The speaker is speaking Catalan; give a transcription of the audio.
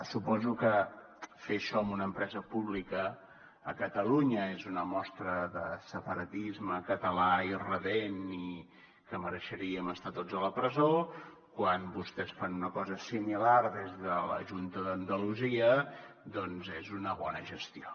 suposo que fer això amb una empresa pública a catalunya és una mostra de separatisme català irredempt i que mereixeríem estar tots a la presó quan vostès fan una cosa similar des de la junta d’andalusia doncs és una bona gestió